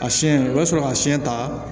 A siɲɛ o bɛ sɔrɔ ka siyɛn ta